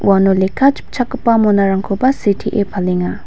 uano lekka chipchakgipa monarangkoba sitee palenga.